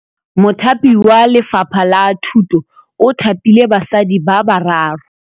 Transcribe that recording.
Mothapi wa Lefapha la Thutô o thapile basadi ba ba raro.